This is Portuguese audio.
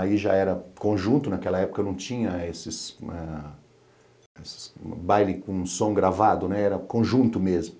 Aí já era conjunto, naquela época não tinha esses... esses bailes com som gravado, né, era conjunto mesmo.